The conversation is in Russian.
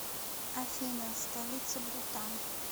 афина столица бутан